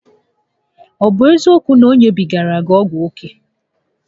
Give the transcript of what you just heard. Ọ bụ eziokwu na o nyebigara gị ọgwụ oke?